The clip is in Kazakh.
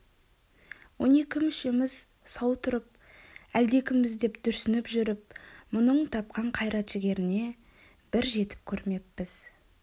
он екі мүшеміз сау тұрып әлдекімбіз деп дүрсініп жүріп мұның тапқан қайрат-жігеріне бір жетіп көрмеппіз